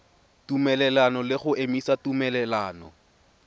tumelelano le go emisa tumelelano